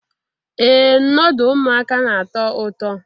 Ee noodu ụmụaka na-atọ ụtọ